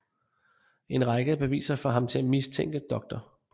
En række af beviser får ham til at mistænke Dr